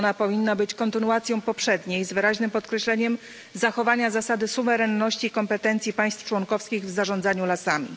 Ona powinna być kontynuacją poprzedniej z wyraźnym podkreśleniem zachowania zasady suwerenności i kompetencji państw członkowskich w zarządzaniu lasami.